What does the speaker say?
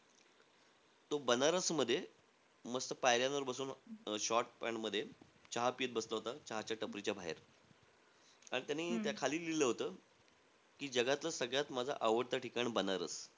तो बनारसमध्ये, मस्त पायऱ्यांवर बसून short pant मध्ये चहा पीत बसला होता. चहाच्या टपरीच्या बाहेर. आणि त्यानी त्या खाली लिहिलेलं होतं की, जगातलं सगळ्यात माझं आवडतं ठिकाण बनारस.